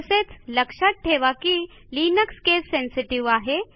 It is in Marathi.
तसेच लक्षात टेवा की लिनक्स केस सेन्सेटिव्ह आहे